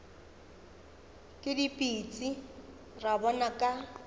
ke dipitsi ra bona ka